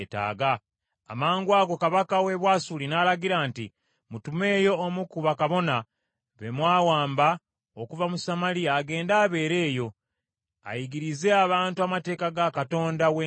Amangwago kabaka w’e Bwasuli n’alagira nti, “Mutumeyo omu ku bakabona be mwawamba okuva mu Samaliya agende abeere eyo, ayigirize abantu amateeka ga Katonda w’ensi eyo.”